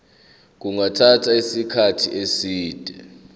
kungathatha isikhathi eside